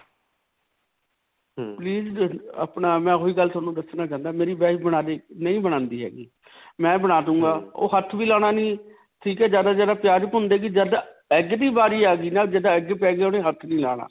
please, ਆਪਣਾ, ਮੈਂ ਓਹੀ ਗੱਲ ਤੁਹਾਨੂੰ ਦੱਸਣਾ ਚਾਹੁੰਦਾ ਮੇਰੀ wife ਨਹੀਂ ਬਣਾਉਂਦੀ ਹੈਗੀ. ਮੈਂ ਬਣਾ ਦੂਂਗਾ. ਓਹ ਹੱਥ ਵੀ ਲਾਨਾ ਨਹੀਂ, ਠੀਕ ਹੈ. ਜਿਆਦਾ ਤੋਂ ਜਿਆਦਾ ਪਿਆਜ ਭੁੰਨ ਦਵੇਗੀ ਜੱਦ egg ਦੀ ਬਾਰੀ ਆ ਗਈ ਨਾ. ਜਿੱਦਾਂ egg, peg ਓਹਨੇ ਹੱਥ ਨਹੀਂ ਲਾਉਣਾ.